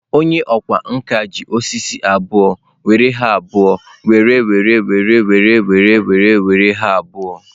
Onye ọkwá nkà ji osisi abụọ were ha abụọ were were were were were were were were were ha abụọ.